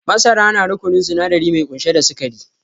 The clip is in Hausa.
Masara na rukununin sinadari mai kunshe da sikari